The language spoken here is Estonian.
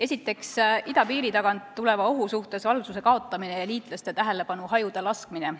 Esiteks, idapiiri tagant tuleva ohu suhtes valvsuse kaotamine ja liitlaste tähelepanu hajuda laskmine.